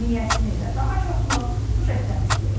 Niyəsini və daha çoxunu süjetdən izləyək.